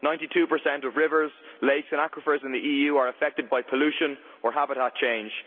Ninety two percent of rivers, lakes and aquifers in the EU are affected by pollution or habitat change.